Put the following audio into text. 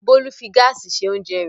Bólú fi gáásì se oúnjẹ rẹ̀.